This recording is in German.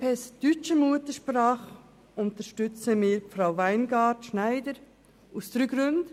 Von den Kandidaten deutscher Muttersprache für das Regionalgericht unterstützen wir Frau Weingart-Schneider, dies aus drei Gründen: